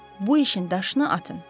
Bu işin daşını atın.